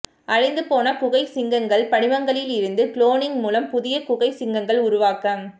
அழிந்து போன குகை சிங்கங்கள் படிமங்களில் இருந்து குளோனிங் மூலம் புதிய குகை சிங்கங்கள் உருவாக்கம்